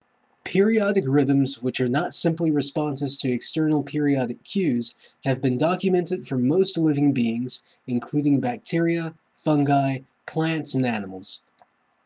periodic rhythms which are not simply responses to external periodic cues have been documented for most living beings including bacteria fungi plants and animals